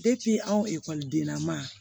anw ekɔlidenya ma